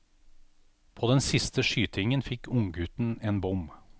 På den siste skytingen fikk unggutten en bom.